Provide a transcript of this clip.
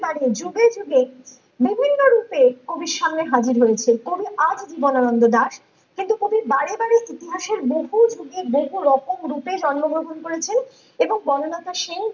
বারে যুগে যুগে বিভিন্ন রূপে কবির সামনে হাজির হয়েছে কবি আজ জীবনানন্দ দাশ কিন্তু কবি বারে বারে ইতিহাসের বহু যুগে বহু রকম রূপে জন্ম গ্রহণ করেছেন এবং বনলতা সেন